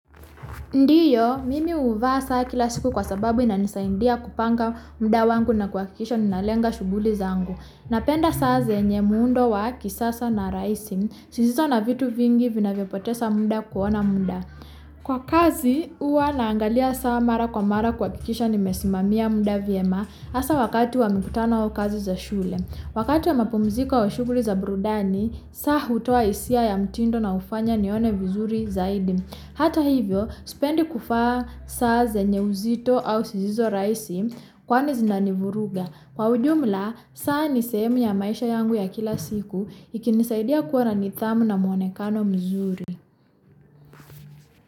Ndiyo, mimi huvaa saa kila siku kwa sababu inanisaidia kupanga muda wangu na kuhakikisha ninalenga shughuli zangu. Napenda saa zenye muundo wa kisasa na rahisi, zisizo na vitu vingi vinavyopoteza muda kuona muda. Kwa kazi, huwa naangalia saa mara kwa mara kuhakikisha nimesimamia muda vyema hasa wakati wa mikutano au kazi za shule. Wakati wa mapumziko au shughuli za burudani, saa hutoa hisia ya mtindo na hufanya nione vizuri zaidi. Hata hivyo, sipendi kuvaa saa zenye uzito au zisizo rahisi, kwani zinanivuruga. Kwa ujumla, saa ni sehemu ya maisha yangu ya kila siku, ikinisaidia kuwa na nidhamu na mwonekano mzuri.